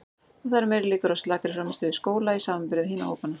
Og það eru meiri líkur á slakri frammistöðu í skóla í samanburði við hina hópana.